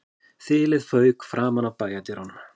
Þilið fauk framan af bæjardyrunum